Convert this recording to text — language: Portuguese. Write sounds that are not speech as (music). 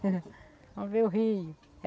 (laughs) Vamos ver o Rio.